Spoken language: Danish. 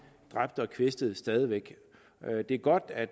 dræbte og kvæstede stadig væk det er godt at